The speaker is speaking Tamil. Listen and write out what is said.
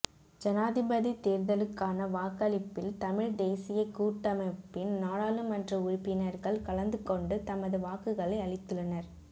ஜனாதிபதித் தேர்தலுக்கான வாக்களிப்பில் தமிழ்த் தேசியக் கூட்டமைப்பின் நாடாளுமன்ற உறுப்பினர்கள் கலந்து கொண்டு தமது வாக்குகளை அளித்துள்ளனர்